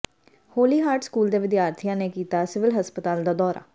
ਹੋਲੀ Heart School ਦੇ ਵਿਦਿਆਰਥੀਆਂ ਨੇ ਕੀਤਾ ਸਿਵਲ ਹਸਪਤਾਲ ਦਾ ਦੌਰਾ